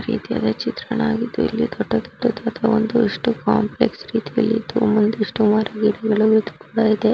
ರೀತಿಯಾದ ಚಿತ್ರಣವಾಗಿದ್ದು ಇಲ್ಲಿ ದೊಡ್ಡ ದೊಡ್ಡ ಒಂದು ಇಷ್ಟು ಕಾಂಪ್ಲೆಕ್ಸ್ ರೀತಿಯಲ್ಲಿ ಕೂಡ ಇದೆ.